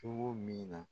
Cogo min na